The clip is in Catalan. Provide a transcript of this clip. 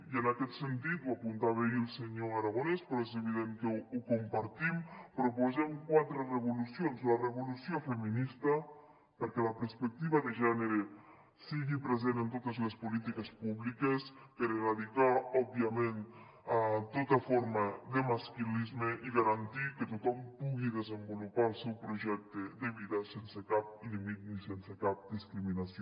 i en aquest sentit ho apuntava ahir el senyor aragonès però és evident que ho compartim proposem quatre revolucions la revolució feminista perquè la perspectiva de gènere sigui present en totes les polítiques públiques per erradicar òbviament tota forma de masclisme i garantir que tothom pugui desenvolupar el seu projecte de vida sense cap límit ni sense cap discriminació